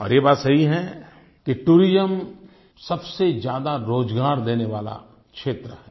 और ये बात सही है कि टूरिज्म सबसे ज्यादा रोज़गार देने वाला क्षेत्र है